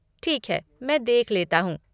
ठीक है, मैं देख लेता हूँ।